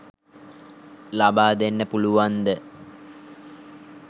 ලබා දෙන්න පුළුවන්ද?